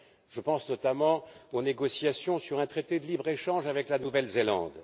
Je pense notamment aux négociations sur un traité de libre échange avec la Nouvelle Zélande.